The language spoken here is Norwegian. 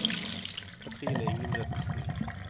Kathrine Ingebrigtsen